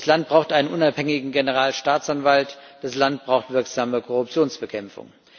Das Land braucht einen unabhängigen Generalstaatsanwalt. Das Land braucht wirksame Korruptionsbekämpfung.